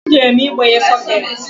E jere m igbanye sokeeti